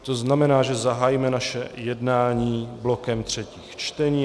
To znamená, že zahájíme naše jednání blokem třetích čtení.